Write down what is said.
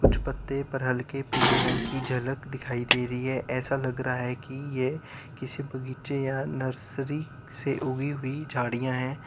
कुछ पत्ते पर हल्के पीले रंग की झलक दिखाई दे रही है ऐसा लग रहा है कि ये किसी बगीचे या नर्सरी से उगी हुई झाड़ियां है।